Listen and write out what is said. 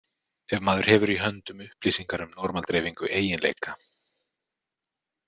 Ef maður hefur í höndum upplýsingar um normal-dreifingu eiginleika.